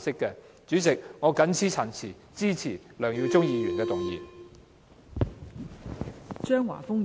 代理主席，我謹此陳辭，支持梁耀忠議員的議案。